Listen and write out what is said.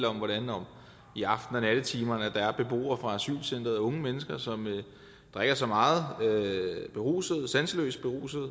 om hvordan der i aften og nattetimerne er beboere fra asylcenteret unge mennesker som drikker sig meget beruset sanseløst beruset